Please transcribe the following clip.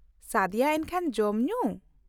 ᱥᱟᱫᱤᱭᱟ ᱮᱱᱠᱷᱟᱱ, ᱡᱚᱢ ᱧᱩ ?